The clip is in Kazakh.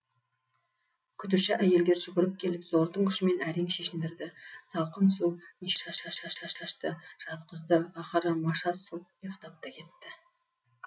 күтуші әйелдер жүгіріп келіп зордың күшімен әрең шешіндірді салқын су неше түрлі спирт шашты жатқызды ақыры маша сұлқ ұйықтап та кетті